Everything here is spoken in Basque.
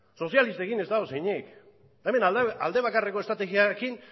sozialistekin ez dago zer eginik hemen alde bakarreko estrategiarekin